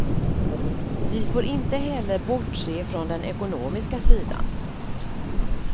Vi får inte heller bortse från den ekonomiska sidan.